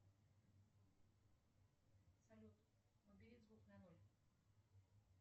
салют убери звук на ноль